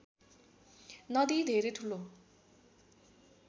नदी धेरै ठूलो